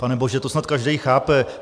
Pane bože, to snad každý chápe.